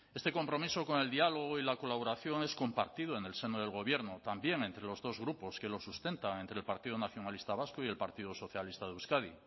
este compromiso con el diálogo y la colaboración es compartido en el seno del gobierno también entre los dos grupos que lo sustentan entre el partido nacionalista vasco y el partido socialista de euskadi